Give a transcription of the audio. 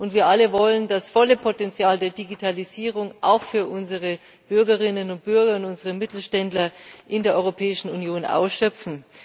Wir alle wollen das volle Potenzial der Digitalisierung auch für unsere Bürgerinnen und Bürger und für unsere Mittelständler in der Europäischen Union ausschöpfen.